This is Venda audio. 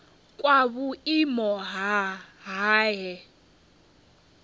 kwa vhuimo ha nha he